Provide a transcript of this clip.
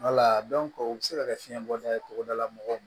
o bɛ se ka kɛ fiɲɛn bɔda ye cogodala mɔgɔw